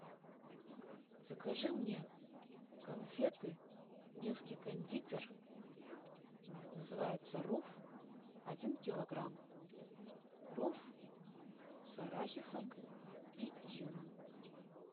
закажи мне конфеты невский кондитер называются руф один килограмм руф с арахисом и изюмом